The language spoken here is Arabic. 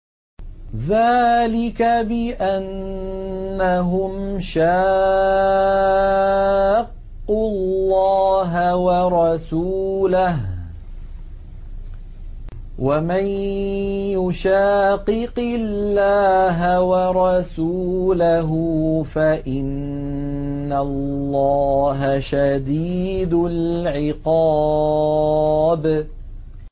ذَٰلِكَ بِأَنَّهُمْ شَاقُّوا اللَّهَ وَرَسُولَهُ ۚ وَمَن يُشَاقِقِ اللَّهَ وَرَسُولَهُ فَإِنَّ اللَّهَ شَدِيدُ الْعِقَابِ